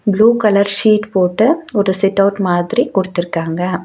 Blue colour sheet போட்டு ஒரு sit out மாத்ரி குடுத்துருக்காங்க.